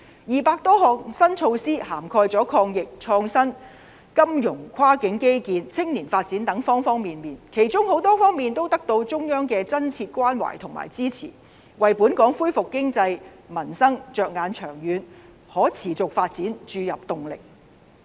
二百多項新措施涵蓋抗疫、創新、金融、跨境基建及青年發展等各方面，其中很多方面都得到中央的真切關懷和支持，為本港恢復經濟、民生着眼長遠可持續發展注入動力。